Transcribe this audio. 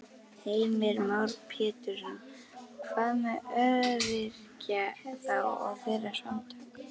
Heimir Már Pétursson: Hvað með öryrkja þá og þeirra samtök?